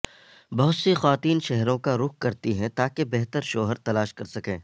بہت سی خواتین شہروں کا رخ کرتی ہیں تاکہ بہتر شوہر تلاش کر سکیں